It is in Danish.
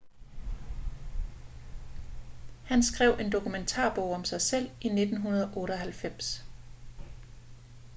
han skrev en dokumentarbog om sig selv i 1998